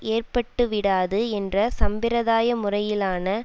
ஏற்பட்டுவிடாது என்ற சம்பிரதாய முறையிலான